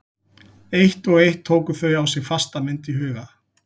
Eitt og eitt tóku þau á sig fasta mynd í huga